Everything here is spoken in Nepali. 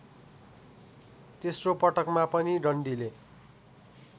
तेस्रोपटकमा पनि डन्डीले